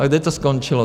A kde to skončilo?